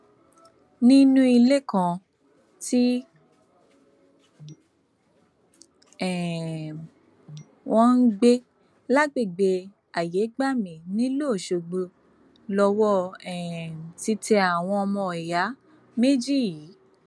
nínú ilé kan tí um wọn ń gbé lágbègbè ayégbàmì nílùú ọṣọgbó lowó um ti tẹ àwọn ọmọọyà méjì yìí